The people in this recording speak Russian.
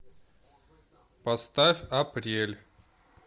поставь апрель